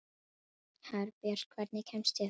Herbjört, hvernig kemst ég þangað?